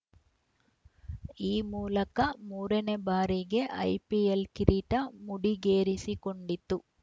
ಈ ಮೂಲಕ ಮೂರ ನೇ ಬಾರಿಗೆ ಐಪಿಎಲ್‌ ಕಿರೀಟ ಮುಡಿಗೇರಿಸಿಕೊಂಡಿತು